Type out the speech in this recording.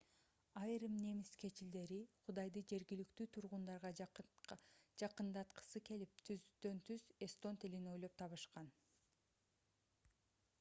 айрым немис кечилдери кудайды жергиликтүү тургундарга жакындаткысы келип түзмө-түз эстон тилин ойлоп табышкан